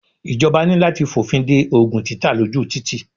Ìjọba ní láti f'ọ̀fin de Ògùn títà ló jù títì.